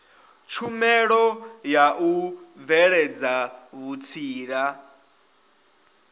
tshumelo ya u bveledza vhutsila